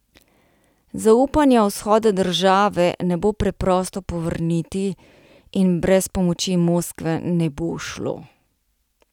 Zaupanja vzhoda države ne bo preprosto povrniti in brez pomoči Moskve ne bo šlo.